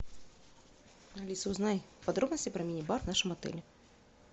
алиса узнай подробности про мини бар в нашем отеле